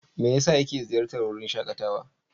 Me yasa yake ziyartar wurin shakatawa?